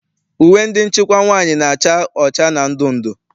Uwe ndị nchịkwa nwaanyị na-acha ọcha na ndụndụ.